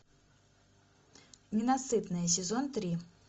ненасытные сезон три